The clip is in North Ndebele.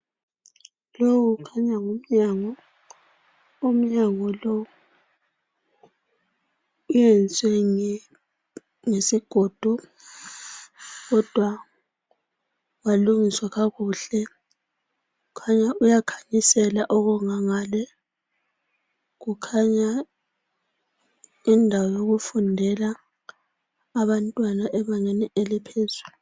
Lowu khanya ngumnyango umnyango lo uyenzwe ngesigodo kodwa walungiswa kakuhle khanya uyakhanyisela okungangale kukhanya indawo yokufundela abantwana ebangeni eliphezulu.